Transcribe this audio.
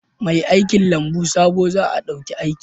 Mai aikin lambu sabo za a dauki aiki